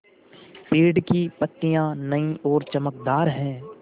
पेड़ की पतियां नई और चमकदार हैँ